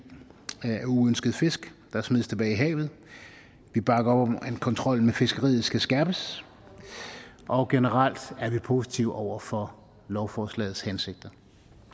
af uønskede fisk der smides tilbage i havet vi bakker op om at kontrollen med fiskeriet skal skærpes og generelt er vi positive over for lovforslagets hensigter